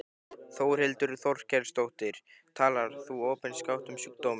Þórhildur Þorkelsdóttir: Talar þú opinskátt um sjúkdóminn?